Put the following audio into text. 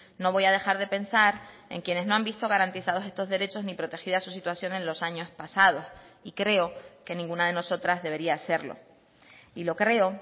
no voy a dejar de pensar en quienes no han visto garantizados estos derechos ni protegida su situación en los años pasados y creo que ninguna de nosotras debería hacerlo y lo creo